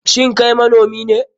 Shin Kai manomi ne?